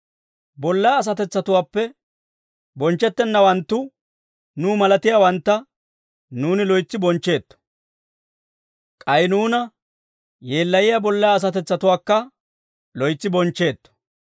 Bollaa asatetsatuwaappe bonchchettennawantta nuw malatiyaawantta nuuni loytsi bonchcheetto. K'ay nuuna yeellayiyaa bollaa asatetsatuwaakka loytsi bonchcheetto.